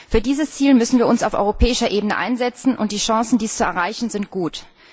Für dieses Ziel müssen wir uns auf europäischer Ebene einsetzen, und die Chancen, dies zu erreichen, sind gut.